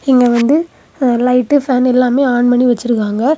இங்க வந்து light fan எல்லாமே ஆன் பண்ணி வச்சிருக்காங்க.